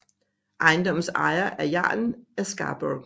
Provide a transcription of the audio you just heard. Ejendommens ejes af jarlen af Scarbrough